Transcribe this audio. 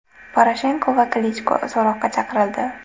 Poroshenko va Klichko so‘roqqa chaqirildi.